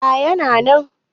A yana nan